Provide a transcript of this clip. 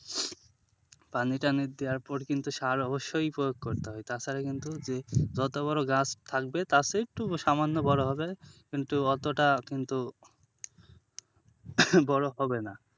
পানি টানি দেওয়ার পর কিন্তু সার অবশ্যই প্রয়োগ করতে হবে তাছাড়া কিন্তু যদি যত বড়ো গাছ থাকবে তার চেয়ে একটু সামান্য বড়ো হবে কিন্তু অতটা কিন্তু বড়ো হবে না।